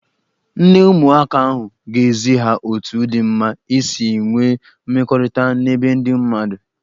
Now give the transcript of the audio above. Nne ụmụaka ahụ ga-ezi ha otu dị mma isi nwee mmekọrịta n'ebe ndị mmadụ.